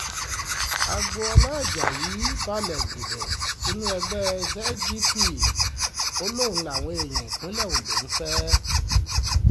agboola ajayi balẹ̀ gùdẹ̀ sínú ẹgbẹ́ zgp ó lóun làwọn èèyàn ìpínlẹ̀ ondo ń fẹ́